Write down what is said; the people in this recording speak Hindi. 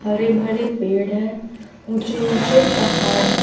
हरे भरे पेड़ है। ऊँचे-ऊँचे पहाड़ है।